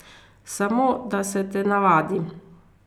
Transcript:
Samo, da se te navadi.